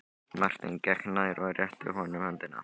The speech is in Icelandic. Marteinn gekk nær og rétti honum höndina.